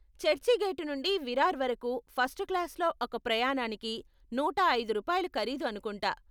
చర్చిగేటు నుండి విరార్ వరకు ఫస్ట్ క్లాసులో ఒక ప్రయాణానికి నూట ఐదు రూపాయలు ఖరీదు అనుకుంటా.